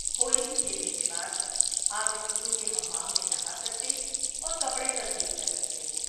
ہولی کھیلنے کے بعد آپ اسکول کے حمام میں نہا سکتے اور کپڑے تبدیل کر سکتے ہیں۔